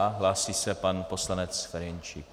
A, hlásí se pan poslanec Ferjenčík.